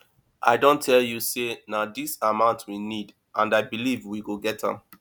i don tell you say na dis amount we need and i believe we go get am